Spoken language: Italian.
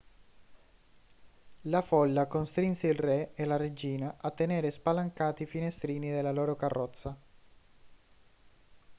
la folla costrinse il re e la regina a tenere spalancati i finestrini della loro carrozza